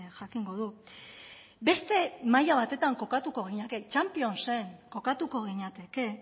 jakingo du beste maila batetan kokatuko ginateke champions en kokatuko ginateke